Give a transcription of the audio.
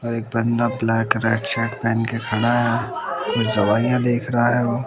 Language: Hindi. और एक बंदा ब्लैक रेड शर्ट पहन के खड़ा है कुछ दवाइयां देख रहा है।